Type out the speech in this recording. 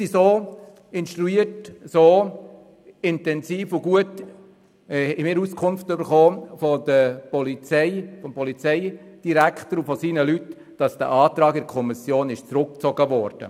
Wir haben vom Polizeidirektor und seinen Mitarbeitenden so gut und intensiv Auskunft erhalten, dass dieser Antrag in der Kommission zurückgezogen wurde.